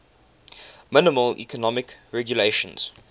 minimal economic regulations